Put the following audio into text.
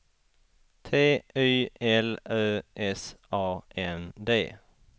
T Y L Ö S A N D